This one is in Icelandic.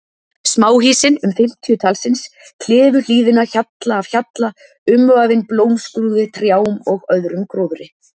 Smáhýsin, um fimmtíu talsins, klifu hlíðina hjalla af hjalla umvafin blómskrúði, trjám og öðrum gróðri.